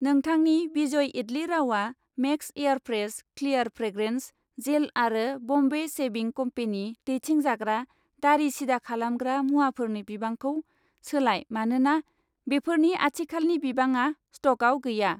नोंथांनि Vijay idli rava, max air fresh clear fragrance gel आरो Bombay shaving company दैथिंजाग्रा दारि सिदा खालामग्रा मुवाफोरनि बिबांखौ सोलाय मानोना बेफोरनि आथिखालनि बिबाङा स्टकआव गैया